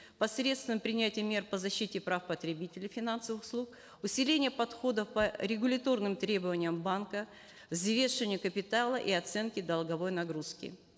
посредством принятия мер по защите прав потребителей финансовых услуг усиленяи подхода по регуляторным требованиям банка капитала и оценки долговой нагрузки